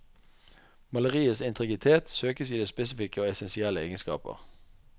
Maleriets integritet søkes i dets spesifikke og essensielle egenskaper.